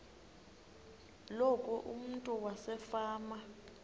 loku umntu wasefama